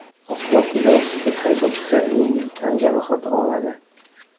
Oqibatda velosiped haydovchisi yengil tan jarohati oladi.